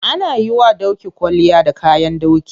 Ana yiwa doki kwalliya da kayan doki.